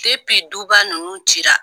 Depi duba ninnu cira